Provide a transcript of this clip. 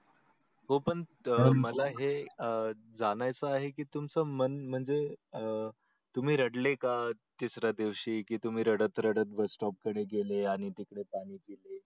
हो पण मला हे अह जाणायच आहे की तुमच मन म्हणजे अह तुम्ही रडले का तिसऱ्या दिवशी की तुम्ही रडत रडत bus stop कडे गेले आणि तिकडे पाणी पिले.